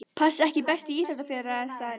Pass EKKI besti íþróttafréttamaðurinn?